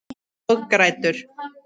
Og grætur.